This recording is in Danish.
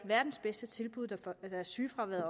verdens bedste tilbud da sygefraværet